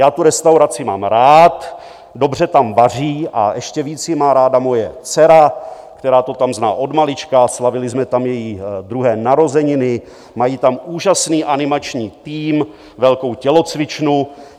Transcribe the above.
Já tu restauraci mám rád, dobře tam vaří a ještě víc ji má ráda moje dcera, která to tam zná od malička, slavili jsme tam její druhé narozeniny, mají tam úžasný animační tým, velkou tělocvičnu.